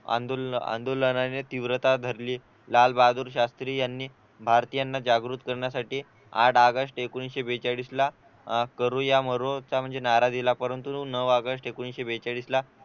आंदोलन आंदोलन आणि तीव्रता धरली लालबहादूर शास्त्री यांनी भारतीयांना जागृत करण्यासाठी आठ ऑगस्ट एकोणीशे बेचाळीस ला अह करो या मरो चा नारा दिला परंतु नऊ ऑगस्ट एकोणीशे बेचाळीस ला